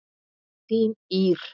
Þín Ýr.